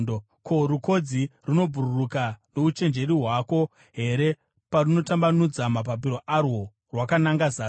“Ko, rukodzi runobhururuka nouchenjeri hwako here parunotambanudza mapapiro arwo rwakananga zasi?